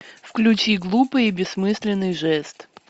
включи глупый и бессмысленный жест